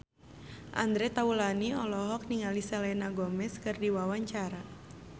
Andre Taulany olohok ningali Selena Gomez keur diwawancara